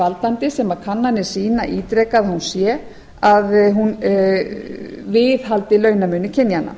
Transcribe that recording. valdandi sem kannanir sýna ítrekað að hún sé að hún viðhaldi launamun kynjanna